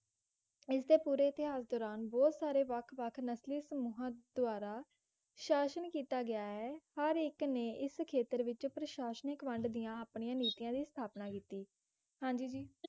ਇਸ ਦੇ ਪੂਰੇ ਇਤਿਹਾਸ ਦੌਰਾਨ ਬਹੁਤ ਸਾਰੇ ਵੱਖ-ਵੱਖ ਨਕਲੀ ਸਮੂਹਾਂ ਦੁਆਰਾ ਸ਼ਾਸਨ ਕੀਤਾ ਗਿਆ ਹੈ ਹਰ ਇੱਕ ਨੇ ਇਸ ਖੇਤਰ ਵਿਚ ਪ੍ਰਸ਼ਾਸ਼ਨਿਕ ਵੰਡ ਦੀਆਂ ਆਪਣੀਆਂ ਨੀਤੀਆਂ ਦੀ ਸਥਾਪਨਾ ਕਿੱਤੀ ਹਾਂਜੀ ਜੀ